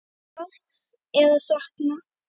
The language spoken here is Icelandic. Margs er að sakna.